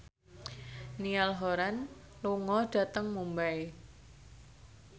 Niall Horran lunga dhateng Mumbai